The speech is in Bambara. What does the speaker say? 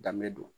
Danbe don